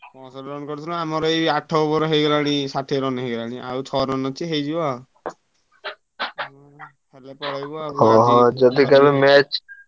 Run କରିଥିଲୁ ଆମର ଏଇ ଆଠ over ହେଇଗଲାଣି ଷାଠିଏ run ହେଇଗଲାଣି ଆଉ ଛଅ run ଅଛି ହେଇଯିବ ଆଉ ।